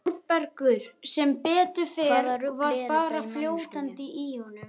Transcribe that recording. ÞÓRBERGUR: Sem betur fer var bara fljótandi í honum.